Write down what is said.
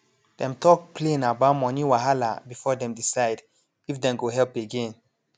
dem talk plain about money wahala before dem decide if dem go help again